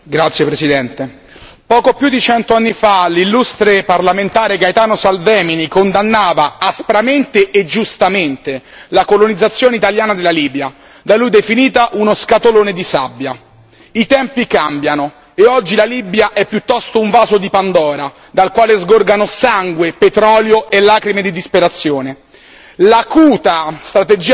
Signor Presidente, onorevoli colleghi, poco più di cento anni fa l'illustre parlamentare Gaetano Salvemini condannava aspramente e giustamente la colonizzazione italiana della Libia, da lui definita uno scatolone di sabbia. I tempi cambiano, e oggi la Libia è piuttosto un vaso di Pandora dal quale sgorgano sangue, petrolio e lacrime di disperazione.